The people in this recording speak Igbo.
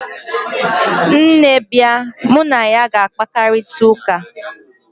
nne bia, mu na ya ga-akparita uka